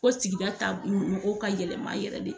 Ko sigi taa mɔgɔw ka yɛlɛma yɛrɛ de.